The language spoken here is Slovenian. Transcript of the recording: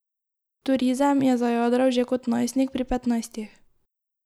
V turizem je zajadral že kot najstnik, pri petnajstih.